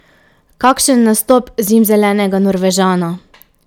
Kakšen nastop zimzelenega Norvežana!